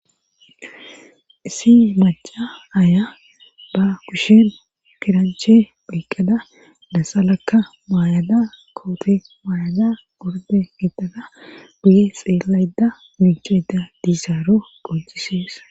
Issi maca aya ba kushen kiranche pheyqqada lasalakka maayada koote maayada gorde getada guye xeelayda mincheyda diisaaro qonxisees.